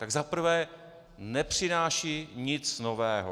Tak za prvé nepřináší nic nového.